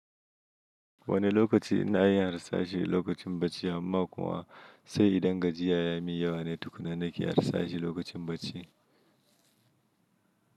Wane lokaci ina iya harsashi lokacin bacci amma kuwa sai idan gajiya ya min yawane tukuna nake harsashi lokacin bacci.